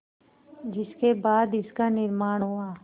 जिसके बाद इसका निर्माण हुआ